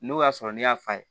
N'o y'a sɔrɔ ne y'a f'a ye